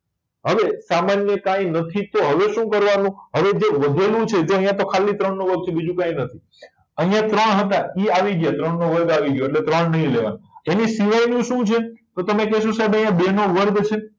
હવે સામાન્ય કઈ નથી તો હવે શું કરવા નું તો હવે જે વધેલું છે જો અહિયાં તો ખાલી ત્રણ નો વર્ગ છે બીજું કઈ નથી અહિયાં ત્રણ હતા એ આવી ગયા ત્રણ નો વર્ગ આવી ગયો એટલે ત્રણ નહી લેવા ના એની સિવાય ની શું છે તો તમે કહેશો સાહેબ આમાં બે નો વર્ગ છે